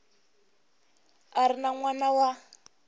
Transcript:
a ri n wana wa